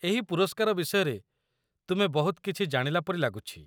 ଏହି ପୁରସ୍କାର ବିଷୟରେ ତୁମେ ବହୁତ କିଛି ଜାଣିଲା ପରି ଲାଗୁଛି।